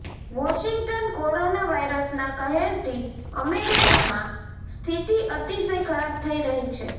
Washington corona વાયરસના કહેરથી અમેરિકમાં સ્થિતિ અતિશય ખરાબ થઈ રહી છે